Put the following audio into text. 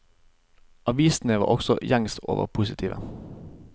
Avisene var også gjengs over positive.